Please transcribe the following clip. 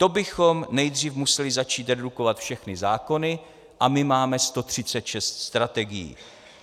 To bychom nejdřív museli začít redukovat všechny zákony, a my máme 136 strategií.